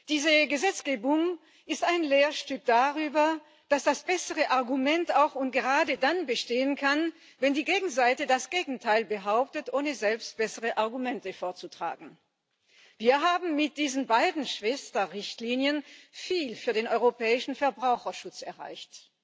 Diese Gesetzgebung ist ein Lehrstück darüber, dass das bessere Argument auch und gerade dann bestehen kann, wenn die Gegenseite das Gegenteil behauptet, ohne selbst bessere Argumente vorzutragen. Wir haben mit diesen beiden Schwester Richtlinien viel für den europäischen Verbraucherschutz erreicht.